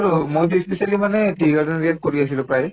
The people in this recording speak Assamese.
আৰু মইতো ই specially মানে tea garden area ত কৰি আছিলো প্ৰায়ে